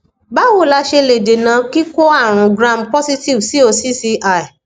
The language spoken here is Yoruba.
bawo la se le dena kiko arun gram positive cocci